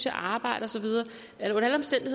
arbejde så jeg vil